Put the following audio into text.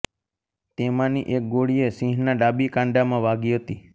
તેમાંની એક ગોળીએ સિંહના ડાબી કાંડામાં વાગી હતી